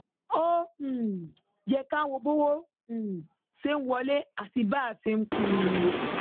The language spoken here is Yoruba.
ó um yẹ ká wo bọwọ um ṣe ń wọlé àti bá a ṣe ń pín in